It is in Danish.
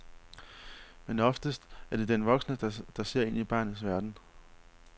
Men oftest er det den voksne der ser ind i barnets verden.